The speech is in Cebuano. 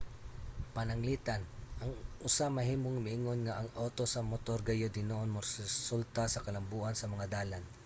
pananglitan ang usa mahimong moingon nga ang awto sa motor gayod hinuon moresulta sa kalambuan sa mga dalan